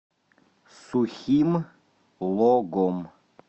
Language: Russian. сухим логом